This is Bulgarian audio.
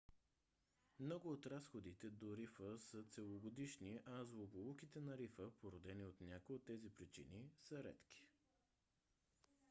много от разходките до рифа са целогодишни а злополуките на рифа породени от някоя от тези причини са редки